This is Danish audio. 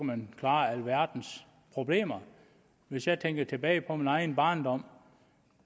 man klare alverdens problemer hvis jeg tænker tilbage på min egen barndom